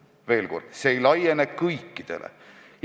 Ütlen veel kord, et see võimalus ei laiene kõikidele.